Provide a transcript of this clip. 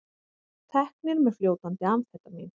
Teknir með fljótandi amfetamín